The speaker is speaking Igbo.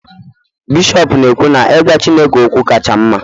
bishọp na-ekwu na I gwa chineke okwu kacha mma